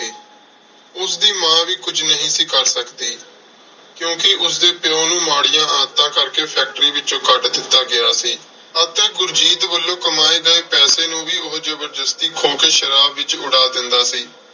ਉਸਦੀ ਮਾਂ ਵੀ ਕੁੱਝ ਨਹੀਂ ਸੀ ਕਰ ਸਕਦੀ। ਕਿਉਂਕਿ ਉਸਦੇ ਪਿਉ ਨੂੰ ਮਾੜੀਆਂ ਆਦਤਾਂ ਕਰਕੇ factory ਵਿੱਚੋਂ ਕੱਢ ਦਿੱਤਾ ਗਿਆ ਸੀ ਅਤੇ ਗੁਰਜੀਤ ਵੱਲੋਂ ਕਮਾਏ ਗਏ ਪੈਸੇ ਨੂੰ ਵੀ ਉਹ ਜ਼ਬਰਦਸਤੀ ਖੋ ਕੇ ਸ਼ਰਾਬ ਵਿੱਚ ਉਡਾ ਦਿੰਦਾ ਸੀ।